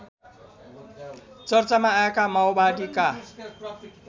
चर्चामा आएका माओवादीका